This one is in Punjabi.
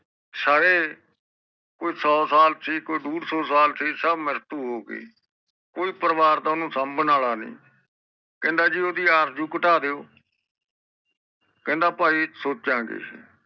ਸਾਰੇ ਕੋਈ ਦੋ ਸਾਲ ਸੀ ਲੋਈ ਦੁੜ ਸੁ ਸਾਲ ਸੀ ਸਬ ਮ੍ਰਿਤੂ ਹੋਗੀਕੋਈ ਪਰਿਵਾਰ ਦਾ ਓਹਨੂੰ ਸੰਬਨ ਵਾਲਾ ਨੀ ਕਹਿੰਦਾ ਜੀ ਓਹਦੀ ਆਰਜੂ ਕਤਾ ਦਿਓ ਕਹਿੰਦਾ ਪਾਈ ਸੋਚਾਂਗੇ